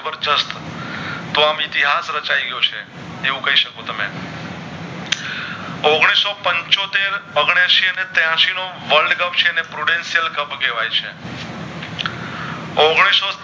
તો આમ ઇતિહાશ રચાય ગયો છે એવું કય શકો તમે ઔગણીશ સો પંચોતેર ઔગણાએંસી ને ત્યાસી નો world cup કેવાય છે ઔગણીસ સો